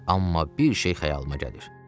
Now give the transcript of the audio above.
Amma bir şey xəyalıma gəlir.